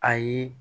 Ayi